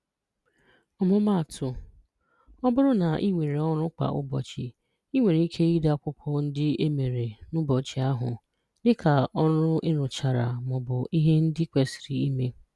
Ọmụmaatụ: Ọ bụrụ na ị nwere ọrụ kwa ụbọchị, i nwere ike ide akwụkwọ ndị e mere n'ụbọchị ahụ, dịka ọrụ e rụchara ma ọ bụ ihe ndị kwesiri ime.